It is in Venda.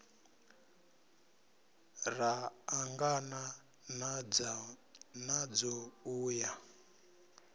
ra ṱangana nadzo u ya